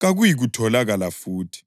kakuyikutholakala futhi.”